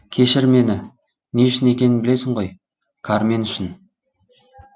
кешір мені не үшін екенін білесің ғой кармен үшін